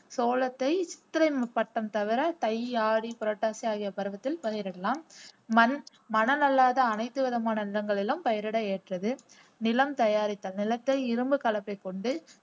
சோளத்தை சித்திரை தவிர தை ஆடி புரட்டாசி ஆகிய பருவத்தில் பயிரிடலாம் மண் மணல் அல்லாத அனைத்து விதமான நிலங்களிலும் பயிரிட ஏற்றது நிலம் தயாரித்தல் நிலத்தை இரும்பு கலப்பை கொண்டு